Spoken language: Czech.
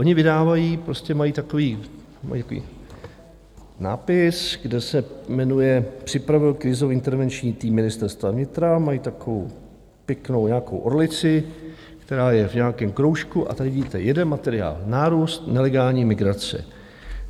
Oni vydávají, prostě mají takový nápis, kde se jmenuje "připravil Krizový intervenční tým Ministerstva vnitra", mají takovou pěknou nějakou orlici, která je v nějakém kroužku, a tady vidíte jeden materiál: Nárůst nelegální migrace.